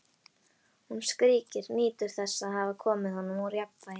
Hún skríkir, nýtur þess að hafa komið honum úr jafnvægi.